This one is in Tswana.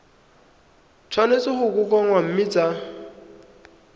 tshwanetse go kokoanngwa mme tsa